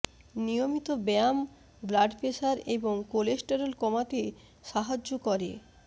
নিয়মিত ব্যায়াম blood pressure এবং কোলেস্টেরল কমাতে সাহায্য করে